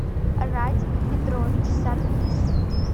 радик петрович саркисов